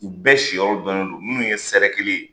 U bɛɛ si yɔrɔ don ne don minnu ye sɛrɛ kelen ye